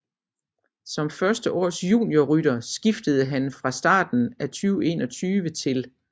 Som førsteårs juniorrytter skiftede han fra starten af 2021 til